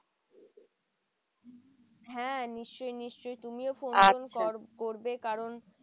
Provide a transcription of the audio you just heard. হ্যাঁ নিশ্চই নিশ্চই তুমিও ফোন করবে কারণ